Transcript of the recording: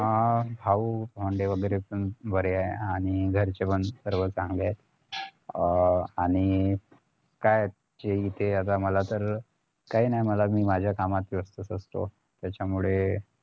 अं भाऊ आणि आनंदे वैगेरे पण बरे आहेत आणि घरचे पण सर्व चांगले आहेत अं आणि काय जे इथे मला आता सर्व काय नाही मी माझ्या कामात व्यस्थच असतो त्याच्यामुळे